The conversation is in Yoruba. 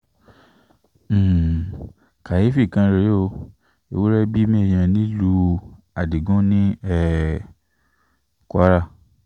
um káyééfì kan rèé o ewúrẹ́ bímọ èèyàn nílùú adigun ní um kwara